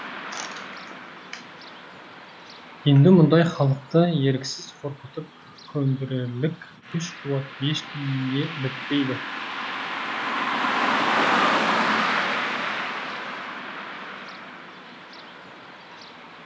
енді мұндай халықты еріксіз қорқытып көндірерлік күш қуат ешкіміне бітпейді